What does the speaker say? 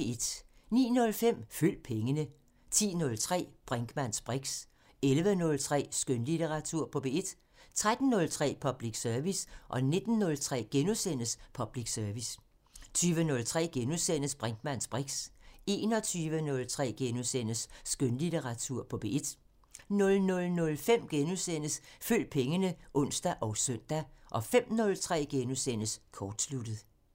09:05: Følg pengene 10:03: Brinkmanns briks 11:03: Skønlitteratur på P1 13:03: Public Service 19:03: Public Service * 20:03: Brinkmanns briks * 21:03: Skønlitteratur på P1 * 00:05: Følg pengene *(ons og søn) 05:03: Kortsluttet *